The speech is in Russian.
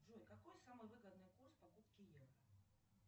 джой какой самый выгодный курс покупки евро